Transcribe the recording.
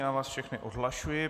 Já vás všechny odhlašuji.